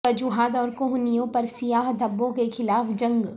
وجوہات اور کوہنیوں پر سیاہ دھبوں کے خلاف جنگ